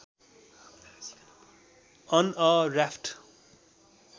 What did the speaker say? on a raft